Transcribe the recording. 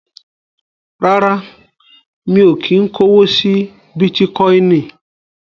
Rárá, mi ò kí ń kówó sí Bítíkọinì.